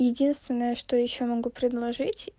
единственное что ещё могу предложить